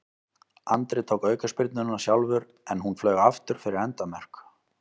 Andri tók aukaspyrnuna sjálfur en hún flaug aftur fyrir endamörk.